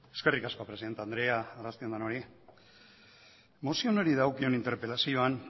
eskerrik asko presidente andrea arrastion denori mozio honi dagokion interpelazioan